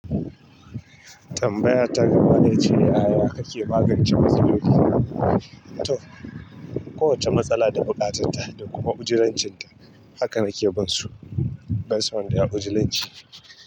Tambaya ta gaba ita ce, "Yaya ake magance matsaloli? To, kowace matsala da bukatarta da kuma ujlancinta, haka na ke ban su. Banso wanda yayi ujlan ci."